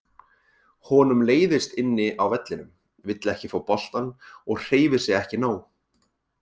Honum leiðist inni á vellinum, vill ekki fá boltann og hreyfir sig ekki nóg.